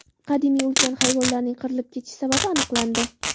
Qadimiy ulkan hayvonlarning qirilib ketish sababi aniqlandi.